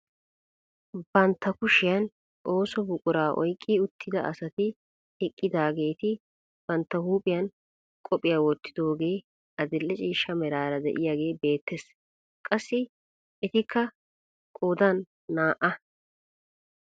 Bantta kushiyaan ooso buquraa oyqqi utida asati eqqidaagetii bantta uuphphiyaan qophiyaa wottidogee adil'e ciishsha merara de'iyaagee beettees. qassi etikka qoodan naa"a.